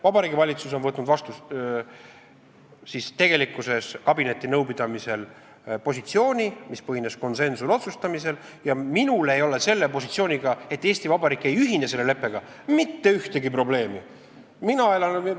Vabariigi Valitsus on asunud kabinetinõupidamisel positsioonile, mis põhines konsensuslikul otsustamisel, ja minul ei ole selle positsiooniga, et Eesti Vabariik ei ühine selle leppega, mitte ühtegi probleemi.